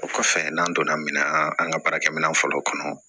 O kɔfɛ n'an donna min na an ka baarakɛminɛn fɔlɔw kɔnɔ